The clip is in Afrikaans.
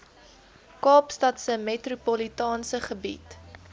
kaapstadse metropolitaanse gebied